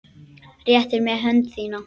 Réttir mér hönd þína.